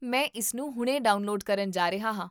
ਮੈਂ ਇਸਨੂੰ ਹੁਣੇ ਡਾਊਨਲੋਡ ਕਰਨ ਜਾ ਰਿਹਾ ਹਾਂ